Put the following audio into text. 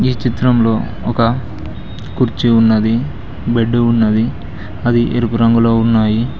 ఈ చిత్రంలో ఒక కుర్చీ ఉన్నది బెడ్డు ఉన్నది అవి ఎరుపు రంగులో ఉన్నాయి.